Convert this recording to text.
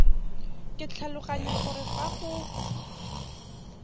ke tlhaloganya gore fa go